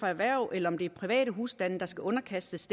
erhverv eller private husstande skal underkastes